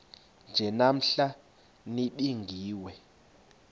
nje namhla nibingiwe